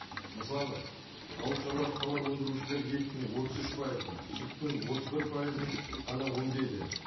мысалы ауыл шаруашылық тауар өндірушілер еттің отыз үш пайызын сүттің отыз бір пайызын ғана өндейді